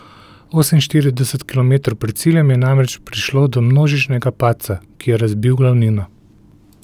Oseminštirideset kilometrov pred ciljem je namreč prišlo do množičnega padca, ki je razbil glavnino.